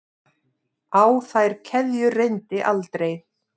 Á þær keðjur reyndi aldrei.